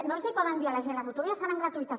no els hi poden dir a la gent les autovies seran gratuïtes